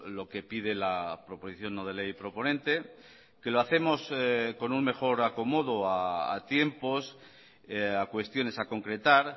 lo que pide la proposición no de ley proponente que lo hacemos con un mejor acomodo a tiempos a cuestiones a concretar